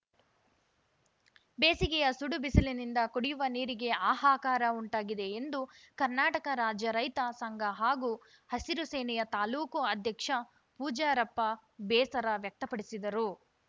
ಬೇಸಿಗೆಯ ಸುಡು ಬಿಸಿಲಿನಿಂದ ಕುಡಿಯುವ ನೀರಿಗೆ ಹಾಹಾಕಾರ ಉಂಟಾಗಿದೆ ಎಂದು ಕರ್ನಾಟಕ ರಾಜ್ಯ ರೈತ ಸಂಘ ಹಾಗೂ ಹಸಿರು ಸೇನೆಯ ತಾಲ್ಲೂಕು ಅಧ್ಯಕ್ಷ ಪೂಜಾರಪ್ಪ ಬೇಸರ ವ್ಯಕ್ತಪಡಿಸಿದರು